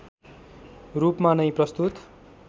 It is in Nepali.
रूपमा नै प्रस्तुत